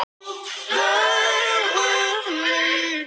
Lúsíuhátíðir eru víða haldnar í kirkjum í Svíþjóð.